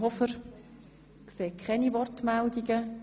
Ich sehe keine Wortbegehren.